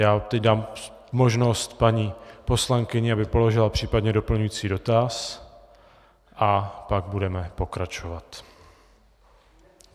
Já teď dám možnost paní poslankyni, aby položila případně doplňující dotaz, a pak budeme pokračovat.